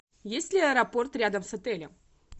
есть ли аэропорт рядом с отелем